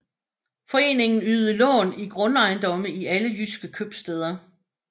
Foreningen ydede lån i grundejendomme i alle jydske købstæder